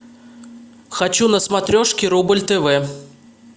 хочу на смотрешке рубль тв